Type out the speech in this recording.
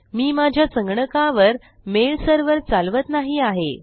मी माझ्या संगणकावर mail server चालवत नाही आहे